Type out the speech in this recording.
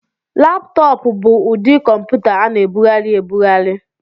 Laptọọpụ bụ ụdị kọmputa a na-ebugharị ebugharị.